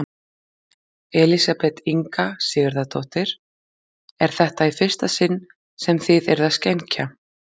Elísabet Inga Sigurðardóttir: Er þetta í fyrsta sinn sem þið eruð að skenkja?